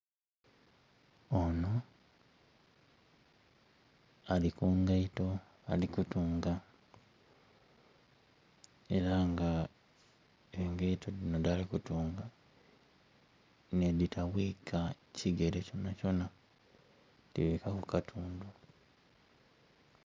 Ono ali ku ngaito ali kutunga era nga engaito dhino dhaali kutunga nedhitabwika kigere kyonakyona, dhibwikaku kitundu.